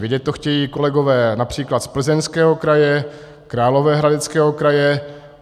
Vědět to chtějí kolegové například z Plzeňského kraje, Královéhradeckého kraje.